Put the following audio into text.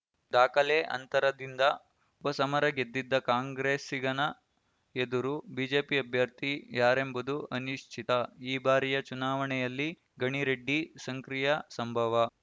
ದಾಖಲೆ ಅಂತರದಿಂದ ಉಪಸಮರ ಗೆದ್ದಿದ್ದ ಕಾಂಗ್ರೆಸ್ಸಿಗನ ಎದುರು ಬಿಜೆಪಿ ಅಭ್ಯರ್ಥಿ ಯಾರೆಂಬುದು ಅನಿಶ್ಚಿತ ಈ ಬಾರಿಯ ಚುನಾವಣಿಯಲ್ಲಿ ಗಣಿ ರೆಡ್ಡಿ ಸಂಕ್ರಿಯ ಸಂಭವ